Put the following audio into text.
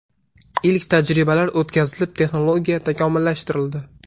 Ilk tajribalar o‘tkazilib, texnologiya takomillashtirildi.